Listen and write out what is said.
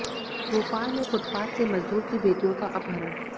भोपाल में फुटपाथ से मजदूर की बेटियों का अपहरण